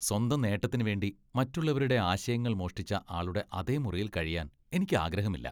സ്വന്തം നേട്ടത്തിന് വേണ്ടി മറ്റുള്ളവരുടെ ആശയങ്ങൾ മോഷ്ടിച്ച ആളുടെ അതേ മുറിയിൽ കഴിയാൻ എനിക്ക് ആഗ്രഹമില്ല .